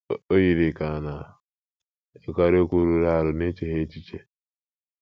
O yiri ka a na - ekwukarị okwu rụrụ arụ n’echeghị echiche.